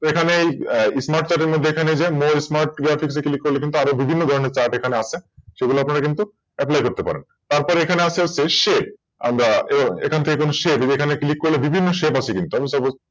তো এখানেই SmartChart এর মধ্যে MoreGraphics এ Click করব করলে কিন্তু আর বিভিন্ন ধরনের Chart এখানে আছে সেগুলো কিন্তু Apply করতে পারেন তারপর এখানে আছো হচ্ছে Shape আমরা তো এখান থেকে যেকোনো Shape এখানে Click করলে বিভিন্ন Shape আছে কিন্তু।